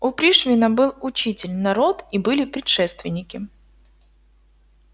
у пришвина был учитель народ и были предшественники